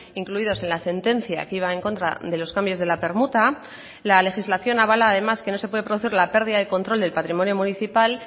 incluidos en la sentencia que iba en contra de los cambios de la permuta la legislación avala además que no se puede producir la pérdida de control del patrimonio municipal